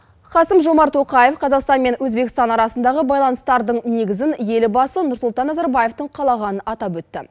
қасым жомарт тоқаев қазақстан мен өзбекстан арасындағы байланыстардың негізін елбасы нұрсұлтан назарбаевтың қалағанын атап өтті